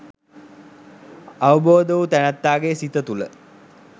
අවබෝධ වූ තැනැත්තාගේ සිත තුළ